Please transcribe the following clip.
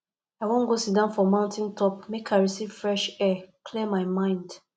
i wan go siddon for mountain top make i receive fresh air clear my mind